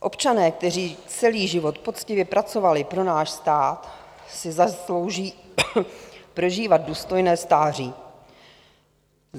Občané, kteří celý život poctivě pracovali pro náš stát, si zaslouží prožívat důstojné stáří.